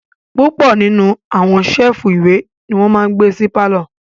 Púpọ̀ nínú àwọn séèfù ìwé ní wọ́n máa n gbé sí pálọ̀